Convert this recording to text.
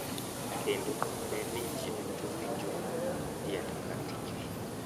Kendo ne ni ji duto winjo tiend kar tichgi